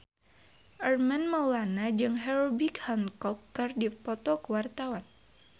Armand Maulana jeung Herbie Hancock keur dipoto ku wartawan